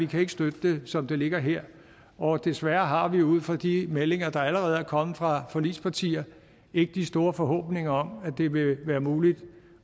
kan støtte det som det ligger her og desværre har vi ud fra de meldinger der allerede er kommet fra forligspartier ikke de store forhåbninger om at det vil være muligt